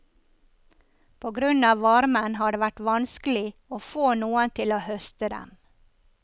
På grunn av varmen har det vært vanskelig å få noen til å høste dem.